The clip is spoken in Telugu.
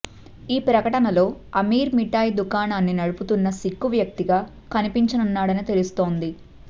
ఈ ప్రకటనలో అమీర్ మిఠాయి దుకాణాన్ని నడుపుతున్న సిక్కు వ్యక్తిగా కనిపించనున్నాడని తెలుస్తోంది